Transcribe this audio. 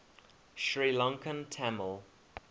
sri lankan tamil